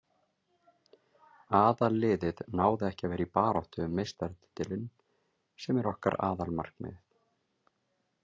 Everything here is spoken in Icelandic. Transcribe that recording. Aðalliðið náði ekki að vera í baráttu um meistaratitilinn sem er okkar aðalmarkmið.